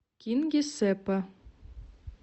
кингисеппа